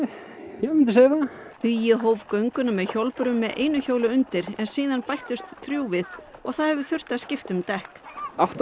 já ég myndi segja það hugi hóf gönguna með hjólbörum með einu hjóli undir en síðan bættust þrjú við og það hefur þurft að skipta um dekk átta